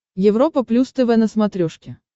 европа плюс тв на смотрешке